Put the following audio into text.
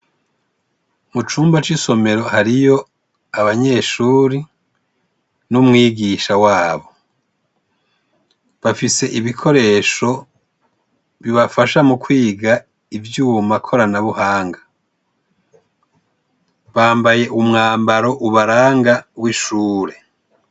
Mucumba c' isomero hariyo abanyeshure n' umwigisha wabo bafise ibikoresho bibafashe mukwiga ivyuma koranabuhanga bambaye umwambaro ubaranga w' ishure.